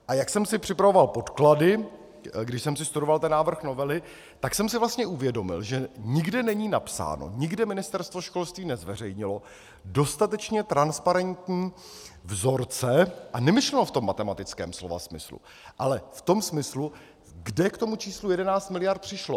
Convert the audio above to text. A jak jsem si připravoval podklady, když jsem si studoval ten návrh novely, tak jsem si vlastně uvědomil, že nikde není napsáno, nikde Ministerstvo školství nezveřejnilo dostatečně transparentní vzorce a nemyslelo v tom matematickém slova smyslu, ale v tom smyslu, kde k tomu číslu 11 mld. přišlo.